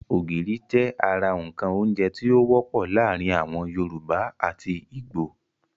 Ògìrì jẹ́ ara ǹkan oúnjẹ tí ó wọ́pọ̀ láàrin àwon yorùbá àti ìgbò